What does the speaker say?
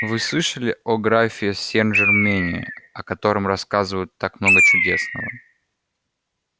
вы слышали о графе сенжермене о котором рассказывают так много чудесного